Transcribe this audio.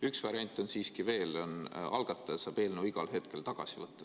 Üks variant on siiski veel: algataja saab eelnõu igal hetkel tagasi võtta.